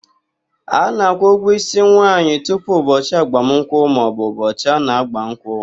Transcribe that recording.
A na-akwụ ụgwọ ísí nwaanyị tupu ụbọchị agbamụnkwụ maọbụ ụbọchị a na ágbà nkwụ.